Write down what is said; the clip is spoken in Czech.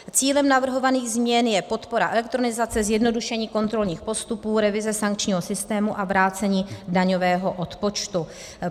Cílem navrhovaných změn je podpora elektronizace, zjednodušení kontrolních postupů, revize sankčního systému a vrácení daňového odpočtu.